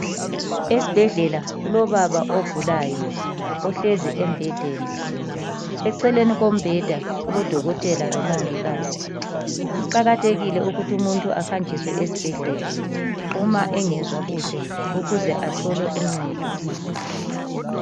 Esibhedlela kulobaba ogulayo ohlezi embhedeni eceleni kombheda kulodokotela lomongikazi. Kuqakathekile ukuthi umuntu ahanjiswe esibhedlela uma engezwa kuhle ukuze athole uncedo.